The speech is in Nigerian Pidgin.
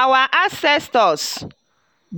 our ancestors